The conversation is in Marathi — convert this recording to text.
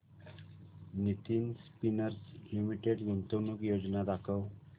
नितिन स्पिनर्स लिमिटेड गुंतवणूक योजना दाखव